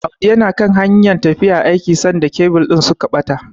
Audi yana kan hanyar tafiya aiki sanda kebil din suka bata.